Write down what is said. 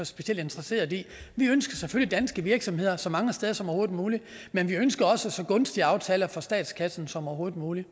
specielt interesseret i vi ønsker selvfølgelig danske virksomheder så mange steder som overhovedet muligt men vi ønsker også så gunstige aftaler for statskassen som overhovedet muligt